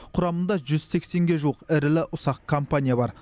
құрамында жүз сексенге жуық ірілі ұсақ компания бар